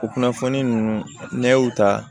O kunnafoni ninnu n'an y'o ta